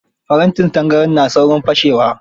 Farantin tangaran na saurin fashewa.